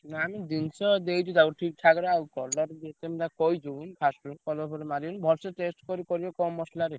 ନା ଆମେ ଜିନିଷ ଦେଇଛୁ ତାକୁ ଠିକ୍ ଠାକ୍ ରେ ଆଉ time ଯୋଉ ମୁଁ ତାକୁ କହିଛୁ first ରୁ colour ଫଲର ମାରିବୁନି ଭଲସେ taste କରି କରିବୁ କମ୍ ମସଲାରେ।